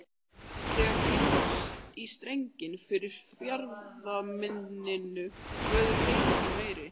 Þegar kemur út í strenginn fyrir fjarðarmynninu verður hreyfingin meiri.